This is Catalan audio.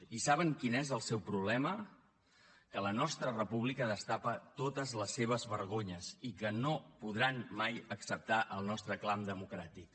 i saben quin és el seu problema que la nostra república destapa totes les seves vergonyes i que no podran mai acceptar el nostre clam democràtic